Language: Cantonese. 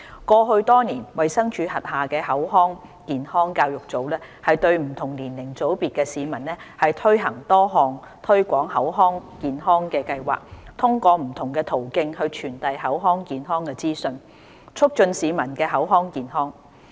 過去多年，衞生署轄下的口腔健康教育組針對不同年齡組別的市民推行多項推廣口腔健康的計劃，通過不同途徑傳遞口腔健康資訊，促進市民的口腔健康。